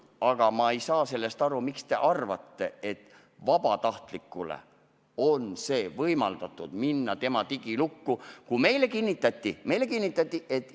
Aga ma ei saa aru sellest, miks te arvate, et vabatahtlikul on võimalik minna tema digilukku, kui meile kinnitati – meile kinnitati!